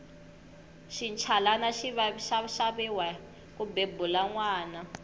xinchalani xi xaviwa ku bebula nwana